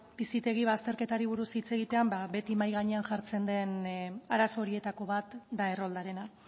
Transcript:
bizitegi bazterketari buruz hitz egitean ba beti mahai gainean jartzen den arazo horietako bat da erroldarena